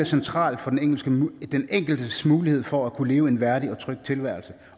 central for den enkeltes mulighed for at kunne leve en værdig og tryg tilværelse